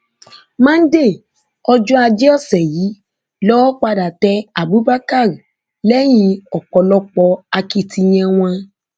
monde ọjọ ajé ọsẹ yìí lowó padà tẹ abubakar lẹyìn ọpọlọpọ akitiyan wọn